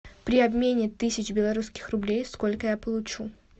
при обмене тысячи белорусских рублей сколько я получу